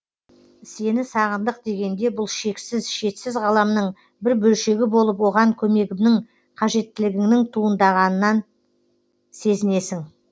сені сағындық дегенде бұл шексіз шетсіз ғаламның бір бөлшегі болып оған көмегімнің қажеттелігіңнің туындағандығын сезінесің